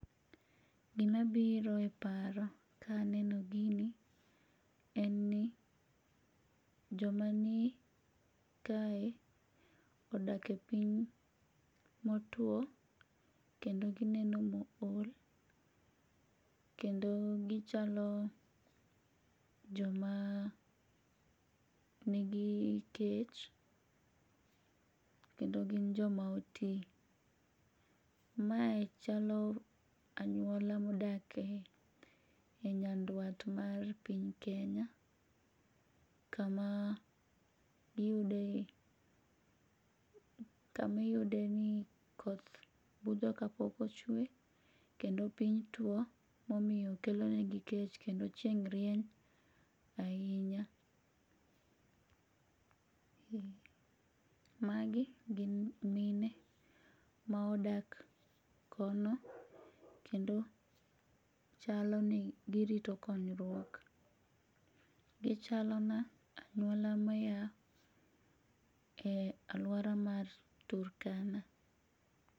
Gimabiro e paro kaneno gini en ni joma ni kae odak e piny motuwo kendo gineno mool kendo gichalo joma nigi kech, kendo gin joma oti. Mae chalo anyuola modake nyaduat mar piny Kenya kama iyude ni koth budho kapok ochwe, kendo piny tuwo momiyo kelonegi kech kendo chieng' rieny ahinya, magi gin mine ma odak kono kendo chalo ni girito konyruok, gichalona anyuola maya e alwora mar Turkana.